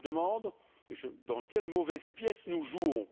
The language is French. Je me demande dans quelle mauvaise pièce nous jouons.